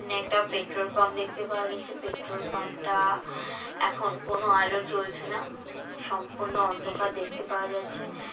এখানে একটা petrol pump দেখতে পাওয়া যাচ্ছে পেট্রোল পাম্প টা এখন কোনো আলো জ্বলছে না সম্পূর্ণ অন্ধকার দেখতে পাওয়া যাচ্ছে।